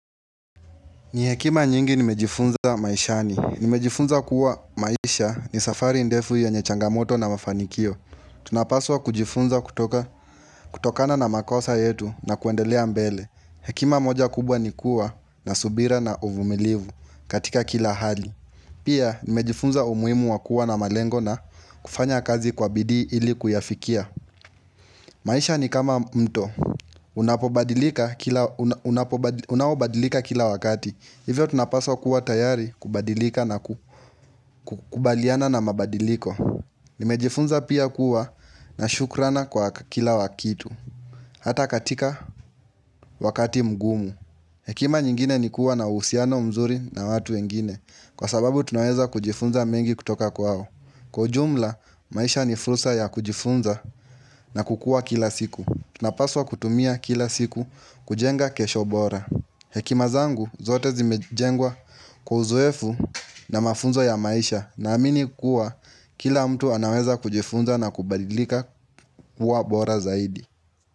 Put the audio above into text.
Ni hekima nyingi nimejifunza maishani. Nimejifunza kuwa maisha ni safari ndefu yenye changamoto na mafanikio. Tunapaswa kujifunza kutoka, kutokana na makosa yetu na kuendelea mbele. Hekima moja kubwa ni kuwa na subira na uvumilivu katika kila hali. Pia nimejifunza umuhimu wa kuwa na malengo na kufanya kazi kwa bidii ili kuyafikia. Maisha ni kama mto, unaobadilika kila wakati, hivyo tunapaswa kuwa tayari kubadilika na ku kubaliana na mabadiliko Nimejifunza pia kuwa na shukrana kwa kila wakitu, hata katika wakati mgumu Hekima nyingine ni kuwa na uhusiano mzuri na watu wengine, kwa sababu tunaweza kujifunza mengi kutoka kwao Kwa ujumla, maisha ni frusa ya kujifunza na kukua kila siku tunapaswa kutumia kila siku kujenga kesho bora Hekima zangu zote zimejengwa kwa uzoefu na mafunzo ya maisha na amini kuwa kila mtu anaweza kujifunza na kubadilika kuwa bora zaidi.